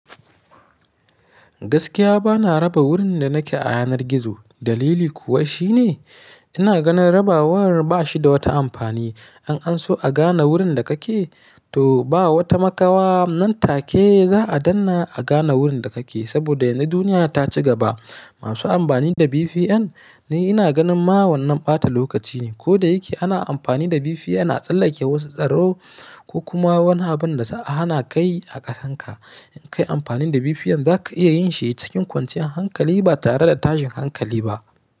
Gaskiya bana raba wurin da nake a yanar gizo. Dalili kuwa shine ina ganin rabawar bashi da wata amfani. In an so a gane wurin da kake to ba wata makawa nan take za a dannna a gane wurin da kake. Saboda yanzu duniya ta ci gaba. Masu amfani da VPN ni ina ganin ma wannan ɓata lokaci ne. Kodayake ana amfani da VPN a tsallake wasu tsaro ko kuma wani abinda za'a hanakayi a ƙasarka. In kayi amfani da VPN zaka iya yin shi cikin kwanciyar hankali ba tare da tashin hankali ba.